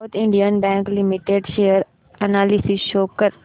south Indian Bank Limited share analysis show कर